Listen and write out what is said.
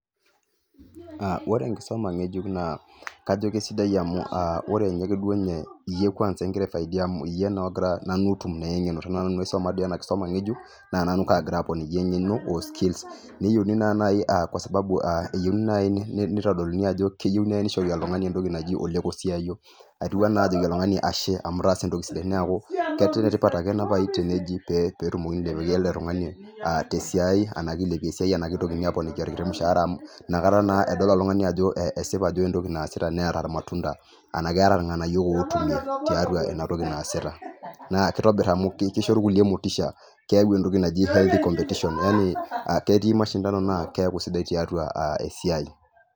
Ore enkisuma ngejuk a kajo kesidai amu ore duo nye eyie ingira aifaidika njere aa ore iyie openy nanyorie enakisuma ngejuk nataa nany kangira aponiki engeno o skills neyieuni naai aa kwasababu nitodoluni ajo keyiueu nishori oltungani entoki naji lekosiayo, atiu anaa ajoki oltungani ashe amu itaasa entoki sidai neaku kenetipat ake enasiai tenilepie esiai arashu tenigili aponiki ermushaara amu nakata naa edol oltungani ajo keeta entoki naasita netaa irnganayio otumie tiatua inatoki naasita, nakitobir amu kisho rkulie motisha ketii mashindani na keaku sidai tiatua esiiai.